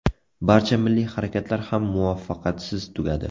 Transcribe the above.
Barcha milliy harakatlar ham muvaffaqiyatsiz tugadi.